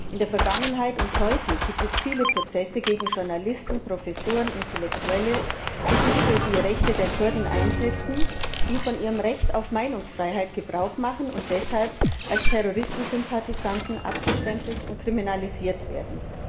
In der Vergangenheit und heute gibt es viele Prozesse gegen Journalisten, Professoren, Intellektuelle, die sich für die Rechte der Kurden einsetzen, die von ihrem Recht auf Meinungsfreiheit Gebrauch machen und deshalb als Terroristensympathisanten abgestempelt und kriminalisiert werden.